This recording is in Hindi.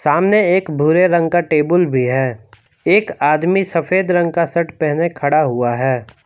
सामने एक भूरे रंग का टेबुल भी है एक आदमी सफेद रंग का शर्ट पहने खड़ा हुआ है।